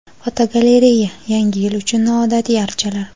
Fotogalereya: Yangi yil uchun noodatiy archalar.